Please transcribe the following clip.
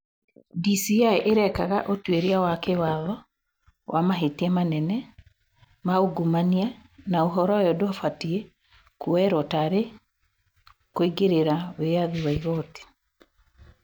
"DCĩ irekaga ũtuĩria wa kĩwatho wa mahĩtia manene ma ungumania na uhoro uyu ndufatie kũ oerwo tari kũingĩrĩra wĩyathi wa igooti.